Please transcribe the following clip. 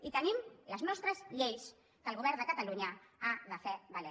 i tenim les nostres lleis que el govern de catalunya ha de fer valer